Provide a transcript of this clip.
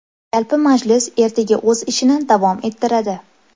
Yalpi majlis ertaga o‘z ishini davom ettiradi.